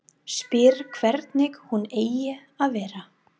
Spyr hvernig hún eigi að vera.